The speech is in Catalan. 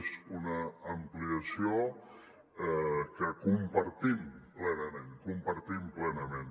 és una ampliació que compartim plenament compartim plenament